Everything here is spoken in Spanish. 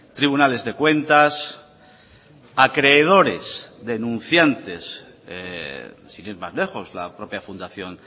tribunales de cuentas acreedores denunciantes sin ir más lejos la propia fundación